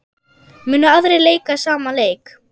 Munu aðrir leika sama leik?